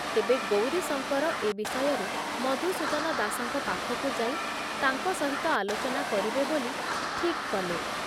ତେବେ ଗୌରୀଶଙ୍କର ଏ ବିଷୟରେ ମଧୁସୂଦନ ଦାସଙ୍କ ପାଖକୁ ଯାଇ ତାଙ୍କ ସହିତ ଆଲୋଚନା କରିବେ ବୋଲି ଠିକ କଲେ ।